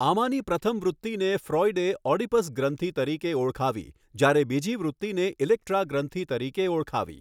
આમાની પ્રથમ વૃત્તિને ફ્રૉઈડે ઑડિપસ ગ્રંથિ તરીકે ઓળખાવી જ્યારે બીજી વૃત્તિને ઇલેક્ટ્રા ગ્રંથિ તરીકે ઓળખાવી.